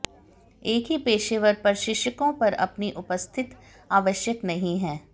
एक ही पेशेवर प्रशिक्षकों पर अपनी उपस्थिति आवश्यक नहीं है